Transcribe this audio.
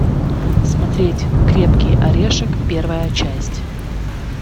смотреть крепкий орешек первая часть